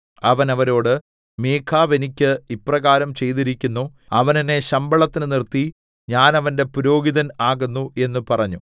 അവൻ അവരോട് മീഖാവ് എനിക്ക് ഇപ്രകാരം ചെയ്തിരിക്കുന്നു അവൻ എന്നെ ശമ്പളത്തിന് നിർത്തി ഞാൻ അവന്റെ പുരോഹിതൻ ആകുന്നു എന്ന് പറഞ്ഞു